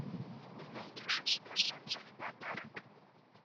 ты найдешь у себя солнце в подарок